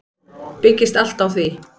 Byggist allt á því.